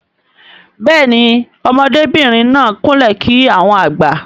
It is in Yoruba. Béèni ọmọdé bìrìn náà kún lè kí àwọn àgbà.